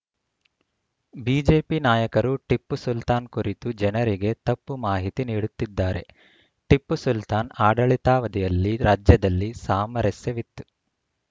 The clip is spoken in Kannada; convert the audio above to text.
ಬಿಜೆಪಿ ನಾಯಕರು ಟಿಪ್ಪು ಸುಲ್ತಾನ್‌ ಕುರಿತು ಜನರಿಗೆ ತಪ್ಪು ಮಾಹಿತಿ ನೀಡುತ್ತಿದ್ದಾರೆ ಟಿಪ್ಪು ಸುಲ್ತಾನ್‌ ಆಡಳಿತಾವಧಿಯಲ್ಲಿ ರಾಜ್ಯದಲ್ಲಿ ಸಾಮರಸ್ಯವಿತ್ತು